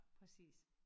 Præcis